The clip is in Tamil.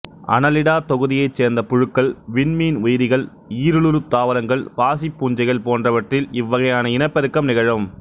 அனலிடா தொகுதியைச் சேர்ந்த புழுக்கள் விண்மீன் உயிரிகள் ஈரலுருத் தாவரங்கள் பாசிப்பூஞ்சைகள் போன்றவற்றில் இவ்வகையான இனப்பெருக்கம் நிகழும்